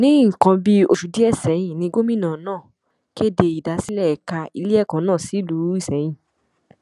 ní nǹkan bíi oṣù díẹ sẹyìn ni gómìnà náà kéde ìdásílẹ ẹka iléẹkọ náà sílùú isẹyìn